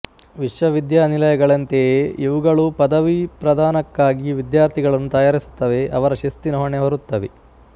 ವಿಶ್ವವಿದ್ಯಾನಿಲಯಗಳಂತೆಯೇ ಇವುಗಳೂ ಪದವೀಪ್ರಧಾನಕ್ಕಾಗಿ ವಿದ್ಯಾರ್ಥಿಗಳನ್ನು ತಯಾರಿಸುತ್ತವೆ ಅವರ ಶಿಸ್ತಿನ ಹೊಣೆ ಹೊರುತ್ತವೆ